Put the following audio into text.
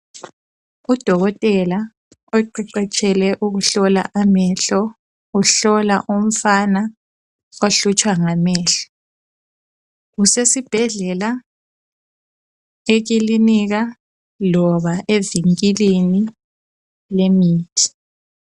Udokotela oqeqetshele ukuhlola amehlo, uhlola umfana ohlutshwa ngamehlo. Usesibhedlela, ekilinika loba evinkilini lemithi.